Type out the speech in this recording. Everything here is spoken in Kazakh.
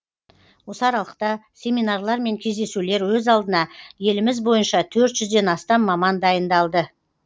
осы аралықта семинарлар мен кездесулер өз алдына еліміз бойынша төрт жүзден астам маман дайындалды